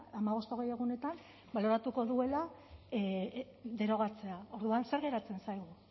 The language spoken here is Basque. hamabost hogei egunetan baloratuko duela derogatzea orduan zer geratzen zaigu